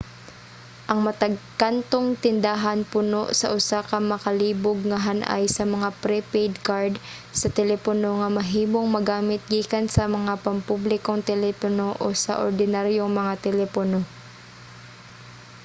ang matag kantong tindahan puno sa usa ka makalibog nga han-ay sa mga pre-paid card sa telepono nga mahimong magamit gikan sa mga pampublikong telepono o sa ordinaryong mga telepono